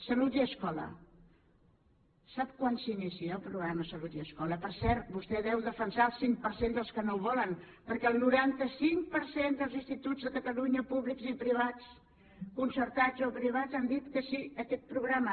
salut i escola sap quan s’inicia el programa salut i escola per cert vostè deu defensar el cinc per cent dels que no el volen perquè el noranta cinc per cent dels instituts de catalunya públics i privats concertats o privats han dit que sí a aquest programa